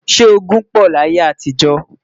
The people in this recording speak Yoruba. sọ ogún pò láyé àtijọ?